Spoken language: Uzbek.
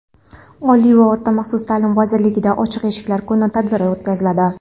Oliy va o‘rta maxsus taʼlim vazirligida "Ochiq eshiklar kuni" tadbiri o‘tkaziladi.